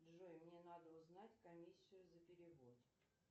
джой мне надо узнать комиссию за перевод